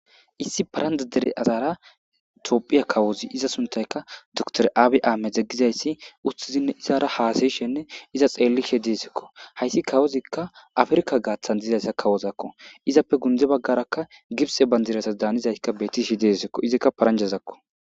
issi paranda dere azaara tophiya kawozi iza suntayka dtor aabi aame deggizayssi uttizinne izara haasayishenne iza xeellishe deesekko hayssi kawozikka afrka gaaththan dizayssa kawozakko izappe gunde baggaraka gibse bandirasas daanizaykka bettishi deesikko izikka paranjazakko